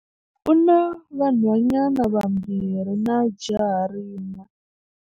U na vanhwanyana vambirhi na jaha rin'we.